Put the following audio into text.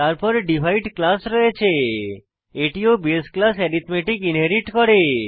তারপর divide class রয়েছে এটি ও বাসে ক্লাস অ্যারিথমেটিক ইনহেরিট করে